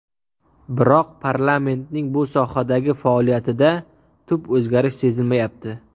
Biroq parlamentning bu sohadagi faoliyatida tub o‘zgarish sezilmayapti.